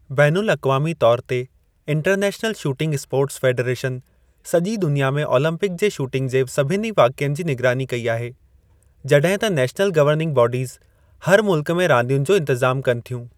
बैन अल-अक़वामी तौर ते, इंटरनैशनल शूटिंग स्पोर्ट्स फ़ेडरेशन सॼी दुनिया में ओलम्पिक जे शूटिंग जे सभिनी वाक़िअनि जी निगरानी कई आहे, जॾहिं त नेशनल गवर्निंग बॉडीज़ हर मुल्क में रांदियुनि जो इंतिज़ामु कनि थ्यूं।